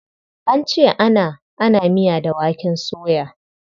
An ce ana ana miya da waken soya.